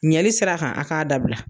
Ɲɛli sira kan a k'a dabila